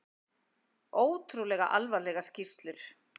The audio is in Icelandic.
Ótrúlega alvarlegar skýrslur